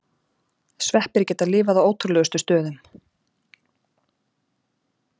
Sveppir geta lifað á ótrúlegustu stöðum.